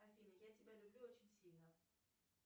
афина я тебя люблю очень сильно